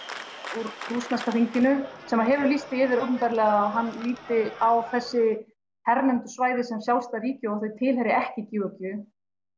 úr rússneska þinginu sem að hefur lýst því yfir opinberlega að hann líti á þessi hernumdu svæði sem sjálfstæð ríki og þau tilheyri ekki Georgíu